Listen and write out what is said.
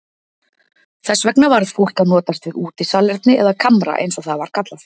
Þess vegna varð fólk að notast við útisalerni eða kamra eins og það var kallað.